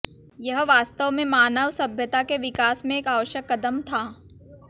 यह वास्तव में मानव सभ्यता के विकास में एक आवश्यक कदम था